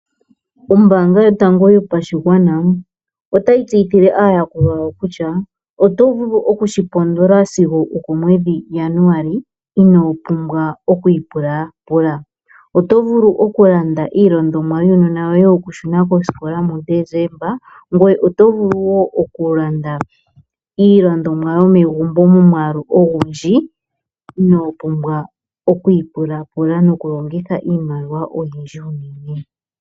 Ombaanga yotango yopashigwana otayi tseyithile aayakulwa yawo kutya oto vulu okushipondola sigo okomwedhi Januali inoo pumbwa okwi ipulapula. Oto vulu okulanda iilandomwa yuunona woye yokushuna kosikola mu Desemba, ngweye oto vulu woo okulanda iilandomwa yomegumbo momwaalu ogundji inoo pumbwa oku ipulapula nokulongitha iimaliwa oyindji unene.